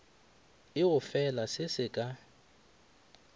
e gofela se se ka